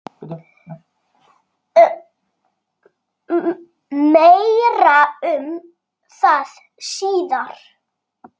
Meira um það síðar.